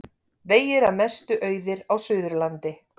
Vegir að mestu auðir á Suðurlandi